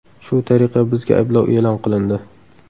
Shu tariqa bizga ayblov e’lon qilindi.